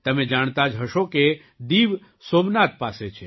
તમે જાણતા જ હશો કે દીવ સોમનાથ પાસે છે